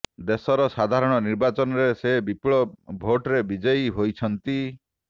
ଦେଶର ସାଧାରଣ ନିର୍ବାଚନରେ ସେ ବିପୁଳ ଭୋଟ୍ରେ ବିଜୟୀ ହୋଇଛନ୍ତି